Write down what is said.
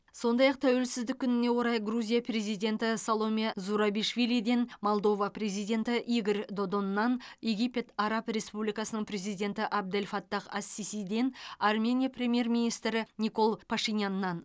сондай ақ тәуелсіздік күніне орай грузия президенті саломе зурабишвилиден молдова президенті игорь додоннан египет араб республикасының президенті абдель фаттах ас сисиден армения премьер министрі никол пашиняннан